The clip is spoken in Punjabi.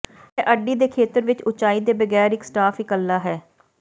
ਇਹ ਅੱਡੀ ਦੇ ਖੇਤਰ ਵਿੱਚ ਉਚਾਈ ਦੇ ਬਗੈਰ ਇੱਕ ਸਟਾਫ ਇੱਕਲਾ ਹੈ